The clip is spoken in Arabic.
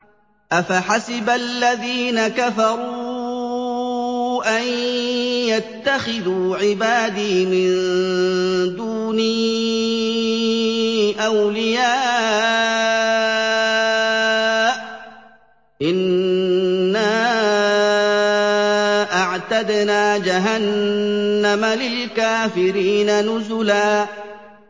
أَفَحَسِبَ الَّذِينَ كَفَرُوا أَن يَتَّخِذُوا عِبَادِي مِن دُونِي أَوْلِيَاءَ ۚ إِنَّا أَعْتَدْنَا جَهَنَّمَ لِلْكَافِرِينَ نُزُلًا